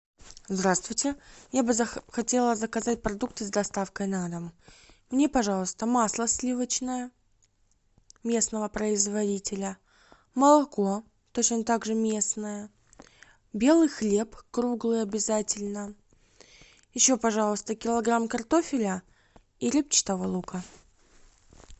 здравствуйте я бы хотела заказать продукты с доставкой на дом мне пожалуйста масло сливочное местного производителя молоко точно так же местное белый хлеб круглый обязательно еще пожалуйста килограмм картофеля и репчатого лука